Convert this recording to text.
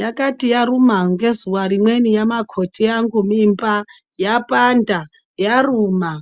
Yakayi yaruma ngekuza rimweni yamakoti vangu mimba yapanda yaruma